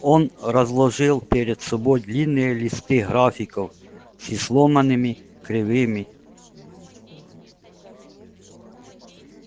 он разложил перед собой длинные листы графиков с изломанными кривыми